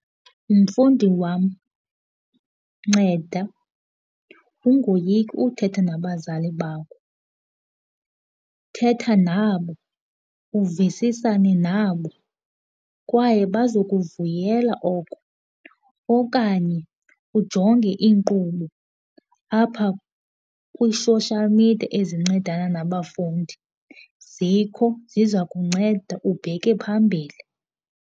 Mfundi wam, nceda ungoyiki uthetha nabazali bakho. Thetha nabo uvisisisane nabo kwaye bazokuvuyela oko, okanye ujonge iinkqubo apha kwi-social media ezincedana nabafundi. Zikho ziza kunceda ubheke phambili.